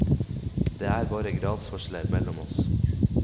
Det er bare gradsforskjeller mellom oss.